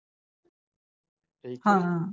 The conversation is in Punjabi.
ਹਾਂ